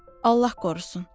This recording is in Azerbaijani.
Allah qorusun.